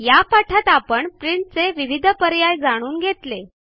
या पाठात आपण प्रिंटचे विविध पर्याय जाणून घेतले